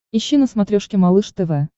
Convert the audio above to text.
ищи на смотрешке малыш тв